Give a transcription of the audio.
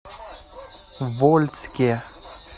вольске